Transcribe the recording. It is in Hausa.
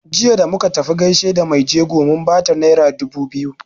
Jiya da muka tafi gaishe da mai jego mun bata naira dubu biyu.